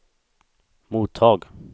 mottag